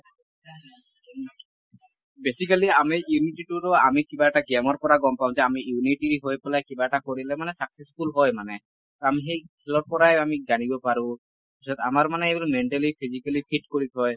basically আমি unity টো ৰো আমি কিবা এটা game ৰ পৰা গম পাও যে আমি unity হৈ পেলাই কিবা এটা কৰিলে মানে successful হয় মানে । টো আমি সেই খেলৰ পৰাই আমি জানিব পাৰো । পিছত আমাৰ মানে এই mentally physically fit কৰি থয় ।